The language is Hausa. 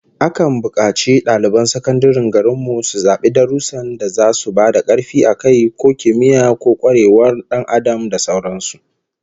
Akan bukaci daliban sakandaren garin mu su zabi darussan da zasu ba da karfi a kai, ko kimiyya, ko kwarewar Dan Adam da sauran su